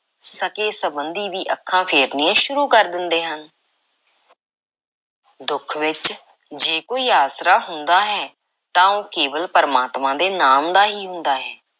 ਸਕੇ–ਸੰਬੰਧੀ ਵੀ ਅੱਖਾਂ ਫੇਰਨੀਆਂ ਸ਼ੁਰੂ ਕਰ ਦਿੰਦੇ ਹਨ। ਦੁੱਖ ਵਿੱਚ ਜੇ ਕੋਈ ਆਸਰਾ ਹੁੰਦਾ ਹੈ ਤਾਂ ਉਹ ਕੇਵਲ ‘ਪਰਮਾਤਮਾ ਦੇ ਨਾਮ’ ਦਾ ਹੀ ਹੁੰਦਾ ਹੈ।